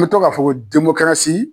I be to k'a fɔ ko